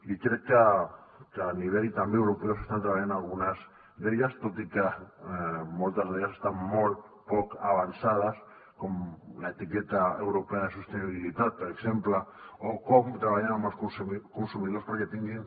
i crec que a nivell també europeu s’estan treballant algunes d’elles tot i que moltes d’elles estan molt poc avançades com l’etiqueta europea de sostenibilitat per exemple o com treballem amb els consumidors perquè tinguin